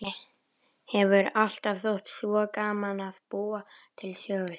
Henni hefur alltaf þótt svo gaman að búa til sögur.